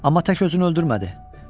Amma tək özünü öldürmədi.